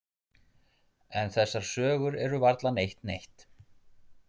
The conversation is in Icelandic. En þessar sögur eru varla neitt neitt.